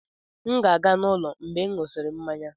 M ga-ala n'ụlọ mgbe m ṅụsịrị mmanya.